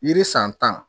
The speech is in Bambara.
Yiri san tan